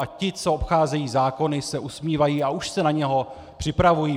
A ti, co obcházejí zákony, se usmívají a už se na něj připravují.